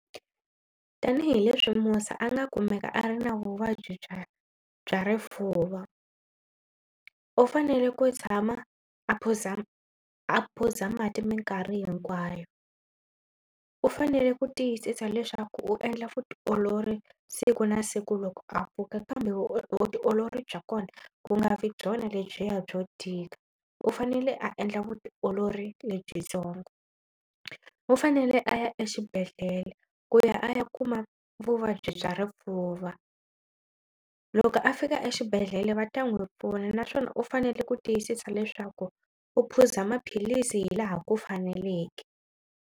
Tanihileswi musa a nga kumeka a ri na vuvabyi bya bya rifuva. U fanele ku tshama a phuza a phuza mati mikarhi hinkwayo. U fanele ku tiyisisa leswaku u endla vutiolori siku na siku loko a pfuka kambe vutiolori bya kona ku nga vi byona lebyiya byo tika u fanele a endla vutiolori lebyitsongo. U fanele a ya exibedhlele ku ya a ya kuma vuvabyi bya rifuva loko a fika exibedhlele va ta n'wi pfuna naswona u fanele ku tiyisisa leswaku u phuza maphilisi hi laha ku faneleke.